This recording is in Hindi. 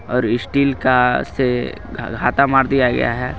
ओर इस्टील का से घा घाथा मार दिया गया है.